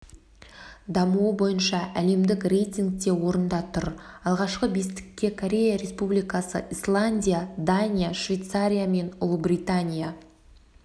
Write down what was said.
дамуы бойынша әлемдік рейтингте орында тұр алғашқы бестікке корея республикасы исландия дания швейцария мен ұлыбритания